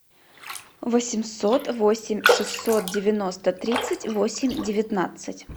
восемьсот восемь шестьсот девяносто тридцать восемь девятнадцать